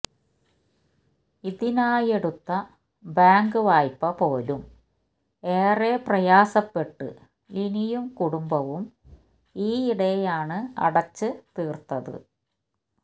ഇതിനായെടുത്ത bank വായ്പ പോലും ഏറെ പ്രയാസപ്പെട്ട് ലിനിയും കുടുംബവും ഈയിടെയാണ് അടച്ച് തീര്ത്തത്